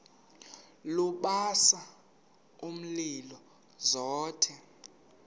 lubasa umlilo zothe